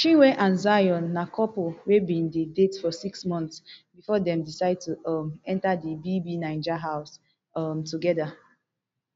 chinwe and zion na couple wey bin dey date for six months bifor dem decide to um enta di bbnaija house um togeda